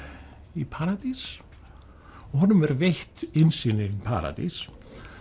í paradís og honum er veitt innsýn í paradís